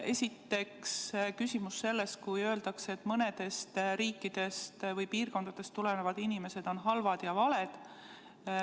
Esiteks küsimus sellest, kui öeldakse, et mõnedest riikidest või piirkondadest tulevad inimesed on halvad ja valed.